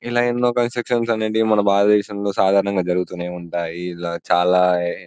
ఇలా ఎన్నో కన్స్ట్రక్షన్స్ అనేవి మన భారతదేశంలో సాధారణంగా జరుగుతూనే ఉంటాయి ఇలా చాలా --.